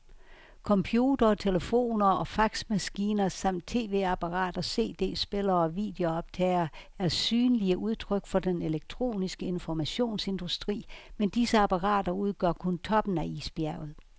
Computere, telefoner og faxmaskiner samt tv-apparater, cd-spillere og videobåndoptagere er synlige udtryk for den elektroniske informationsindustri, men disse apparater udgør kun toppen af isbjerget.